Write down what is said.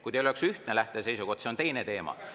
Kui teil oleks ühtne lähteseisukoht, siis see oleks teine teema.